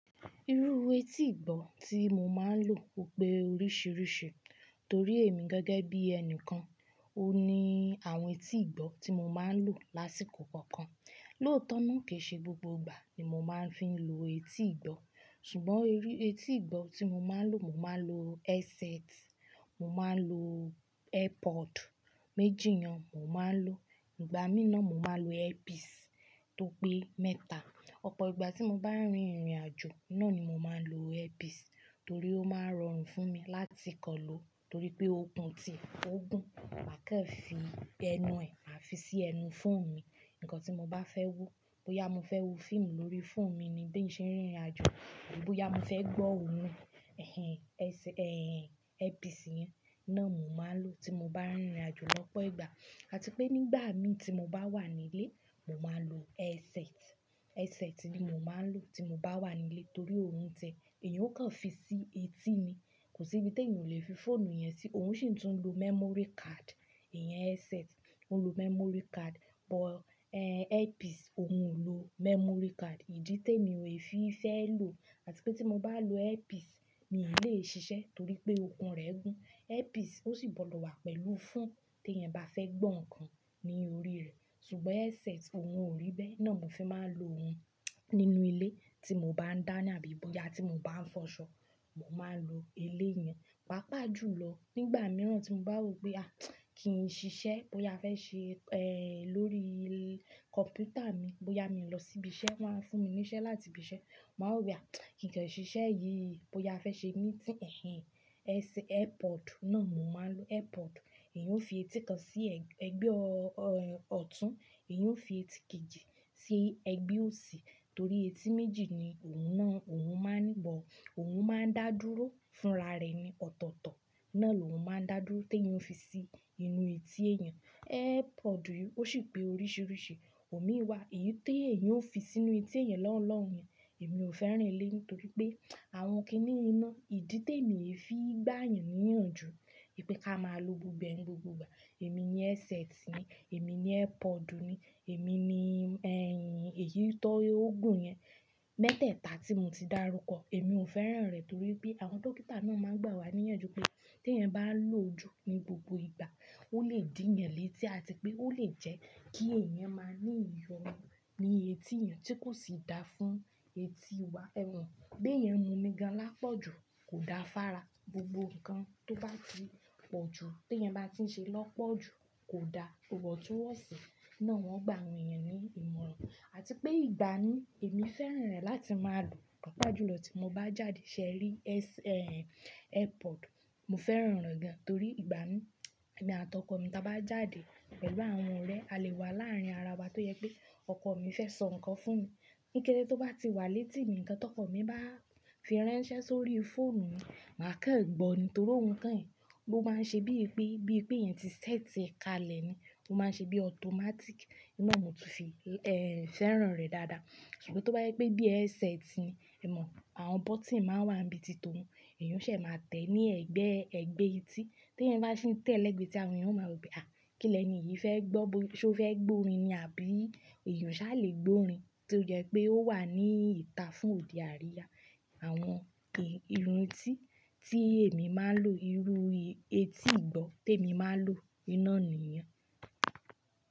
Irú etí ìgbọ́ tí mo máa ń lò ó pé oríṣiríṣi, torí èmi gẹ́gẹ́ bí ẹni kan, ó ní àwọn etí ìgbọ́ tí mo máa ń lò lásìkò kọ̀ọ̀kan. Lóòótọ́ náà ki ṣe gbogbo ìgbà ni mo máa ń fi lò etí ìgbọ́, ṣùgbọ́n irú etí ìgbọ́ tí mo máa ń lò, mo máa ń lo headset, mo máa ń lo airpod méjì yen mo máa ń lò. Ìgbà mìí náà, mo máa ń lo earpiece tó pé mẹ́ta. Ọ̀pọ̀ ìgbà tí mo bá rin ìrìn àjò, ná ni mo máa ń lo earpiece torí ó máa rọrùn fún mi láti kọ́ lò torí pé ó gùn tì, ó gùn, mà kò fi ẹnu ẹ, mà fi sí ẹnu fóònù mi. Ǹkan tí mo bá fẹ́ wò, bóyá mo fẹ́ wò fíìmù lórí fóònù mi ni bíì ṣe ń rìn ìrìn àjò, àbí bóyá mo fẹ́ gbọ́ orin, ẹ́hen, ẹeh, earpiece yẹn náà ni mo máa ń lò tí mo bá rin ìrìn àjò lọ́pọ̀ ìgbà. Àti pé nígbà mi tí mo bá wà nílé, mo máa ń lo headset. Headset ni mo máa ń lò tí mo bá wà nílé torí óún tiẹ, èyí ó kan fi sí etí ni, kò sí ibi tí èèyàn o le fi fóònù yẹn sí, òun ṣì tún lo memory card. Ìyẹn headset, ó ń lo memory card, but, eh, earpiece òun kò lo memory card. Ìdí té mi ò fi fẹ́ lò àti pé tí mo bá lo earpiece, mi i lè ṣiṣẹ́ torí pé okùn rẹ́ gùn. Earpiece ó sì bọ̀ dọ́ wà pẹ̀lú fóònù, tí ẹ̀yan bá fẹ́ gbọ́ nǹkan ní orí rẹ. Ṣùgbọ́n headset òun ò rí bẹ́ẹ̀, náà ni mo fi máa ń lo òhun nínú ilé tí mo bá ń dáná, àbí bóyá tí mo bá ń fọṣọ, mo máa ń lo eléyẹn. Pápá jù lọ, nígbà mìíràn tí mo bá rò pé, à! Kí n ṣiṣẹ́, bóyá a fẹ́ ṣe, eh, lórí kọ̀mpútà mi, bóyá mi lọ sí ibi iṣẹ́, wọ́n á fún mi ní iṣẹ́ láti ibi iṣẹ́. Mo máa rò pé, à! Kìí kàn ṣiṣẹ́ yìí, bóyá a fẹ́ ṣe meeting, ẹ́heh, airpod náà mo máa ń lo airpod. Èyí ó fi etí kan sí ẹgbẹ́ ọ̀tún, èyí ó fi etí kejì sí ẹgbẹ́ òsì torí etí méjì ni òhun náà òhun máa ń bọ́. Òun máa ń dá dúró fúnra rẹ̀ ní ọ̀tọ̀ọ̀tọ̀, náà lòún máa ń dá dúró tí èèyàn ó fi sí inú etí èèyàn. Airpod yìí ó ṣì pé oríṣiríṣi, omi wà, èyí tó èyán ó fi sínú etí èèyàn lọ́un lọ́un. Èmi ò fẹ́ran eléyìí, torí pé àwọn kíní náà, ìdí témi ò fi gbà yàn ní ìyànjú wipé ká máa lo gbogbo ẹ ni gbogbo ìgbà. Èmi ni headset ni, èmi ni airpod ni, èmi ni ẹ́hìn, èyí tó ó gùn yẹn mẹ́tẹ̀ẹ̀ta tí mo ti dárúkọ. Èmi ò fẹ́ràn rẹ̀ torí pé àwọn dókítà náà máa ń gbà wá ní ìyànjú pé tí ẹ̀nyẹn bá lò jù ní gbogbo ìgbà, ó lè dí yan létí àti pé ó lè jẹ́ kí ẹ̀yan máa ní iyọnu ni etí èyán tí kò sì dáa fún etí wa. Ẹ̀ mọ̀, bí ẹ̀yan mu omí gan an lápọ̀jù kò da fára. Gbogbo nǹkan tó bá ti pọ̀ jù, tí ẹ̀yan bá ti ń ṣe lọ́pọ̀jù kò da. Iwọntunwọnsi náà wọn gba awọ̀n eyan ní ìmọ̀ràn. Àti pé ìgbà mi, èmi fẹ́ràn rẹ̀ láti máa lò. Pápá jùlọ́ tí mo bá jáde ṣẹ́ rí ẹ́h, airpod, mo fẹ́ràn rẹ̀ gan torí ìgbà mi, èmi àtọkọ̀ mi ta bá jáde pẹ̀lú àwọn ọ̀rẹ́, a lè wà láàrin ara wa tó jẹ pé ọkọ̀ mi fẹ́ sọ nǹkan fún mi. Níkẹdé tó bá ti wà létí mi, ǹkan tó ọkọ̀ mi bá fi ránṣẹ́ sórí fóònù mi, mà kàn gbọ́ ni torí ohun kan yìí, ó máa ń ṣe bíi pé, bíi pé èyan ti ṣẹ́tì ẹ ka lẹ̀ ni. Ó máa ń ṣe bí automatic. Òun náà ni mo ti fi, eh, fẹ́ràn rẹ̀ dáadáa. Ṣùgbọ́ tó bá yẹ pé bí headset ni, ẹ mọ̀ àwọn bọ́tìn máa ń wà ní ibi tìtọ̀ òhun. Èyan ó ṣe máa tẹ́ ní ẹ̀gbẹ́, ẹgbẹ́ etí. Tí ẹ̀yan bá ṣi tẹ́ lẹ́gbẹ̀ ẹ́ti àwọn èèyàn ó máa rò pé, à! Kí lẹni yìí fẹ́ gbọ́, ṣé ó fẹ́ gbórin ni? Àbí èyán ò ṣà lè gbórin tó jẹ́ pé ó wà ní ìta fún odẹ àríyá. Àwọn eh, ìlò etí tí èmi máa ń lò, irú etí ìgbọ́ tèmi máa ń lò, n náà nìyẹn.